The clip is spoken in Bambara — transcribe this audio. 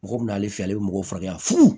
Mɔgɔ min n'ale fɛ ale bɛ mɔgɔw furakɛ